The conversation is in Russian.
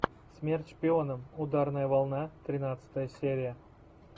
смерть шпионам ударная волна тринадцатая серия